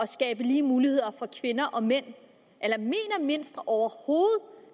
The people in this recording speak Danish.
skabe lige muligheder for kvinder og mænd eller mener venstre overhovedet